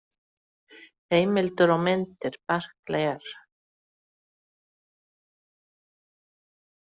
Heimildir og myndir Barkley, R